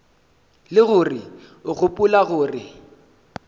le gore o gopola gore